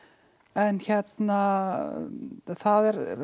en hérna það er